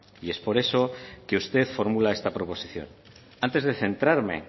y es por eso que usted formula esta proposición antes de centrarme